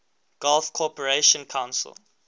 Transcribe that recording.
gulf cooperation council